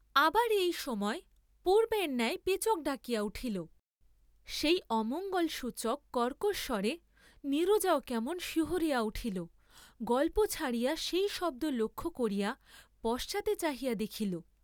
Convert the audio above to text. আবার এই সময় পূর্ব্বের ন্যায় পেচক ডাকিয়া উঠিল, সেই অমঙ্গল সূচক কর্কশ স্বরে নীরজাও কেমন শিহরিয়া উঠিল, গল্প ছাড়িয়া সেই শব্দ লক্ষ্য করিয়া পশ্চাতে চাহিয়া দেখিল।